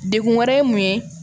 Degun wɛrɛ ye mun ye